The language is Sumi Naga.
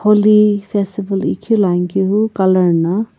holi festival iqhiluani kehu color na.